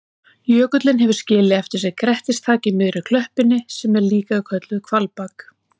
Jökullinn hefur skilið eftir sig grettistak á miðri klöppinni sem er líka kölluð hvalbak.